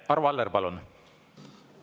Arvo Aller, palun!